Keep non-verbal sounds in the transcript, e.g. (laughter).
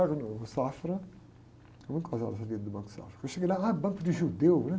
(unintelligible) no Safra... (unintelligible) do Banco Safra, eu cheguei lá, ah, banco de judeu, né?